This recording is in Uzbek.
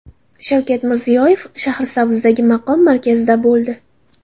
Shavkat Mirziyoyev Shahrisabzdagi maqom markazida bo‘ldi.